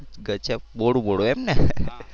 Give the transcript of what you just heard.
ગજબ મોડું મોડું એમને.